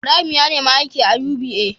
Ibrahim ya nemi aiki a UBA